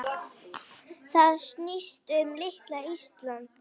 Það snýst um litla Ísland.